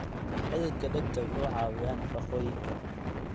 Xididka dhegta wuxuu caawiyaa nafaqooyinka.